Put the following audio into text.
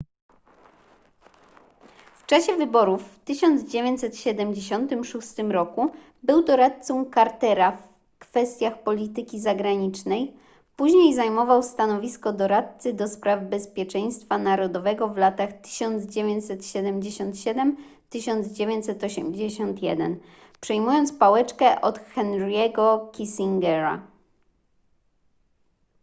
w czasie wyborów w 1976 roku był doradcą cartera w kwestiach polityki zagranicznej później zajmował stanowisko doradcy ds bezpieczeństwa narodowego w latach 1977-1981 przejmując pałeczkę od henry'ego kissingera